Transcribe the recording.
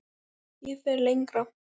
Ég fer lengra.